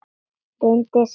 Reyndi samt.